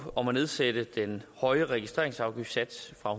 om at nedsætte den høje registreringsafgiftssats fra